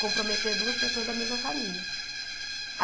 comprometer duas pessoas da mesma família.